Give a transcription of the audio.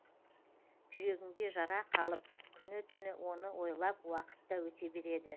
жүрегіңде жара қалып күні түні оны ойлап уақыт та өте береді